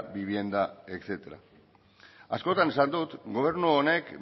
vivienda etcétera askotan esan dut gobernu honek